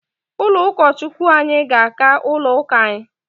Ụlọ ụkọ Chukwu anyị ga-aka ụlọ ụka anyi